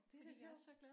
Det er da sjovt